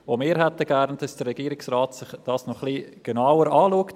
Auch wir hätten gerne, dass sich der Regierungsrat das noch etwas genauer anschaut.